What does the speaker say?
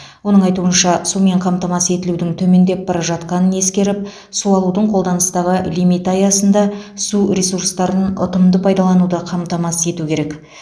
оның айтуынша сумен қамтамасыз етілудің төмендеп бара жатқанын ескеріп су алудың қолданыстағы лимиті аясында су ресурстарын ұтымды пайдалануды қамтамасыз ету керек